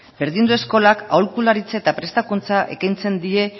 berdindu eskolak aholkularitza eta prestakuntza ekintzen die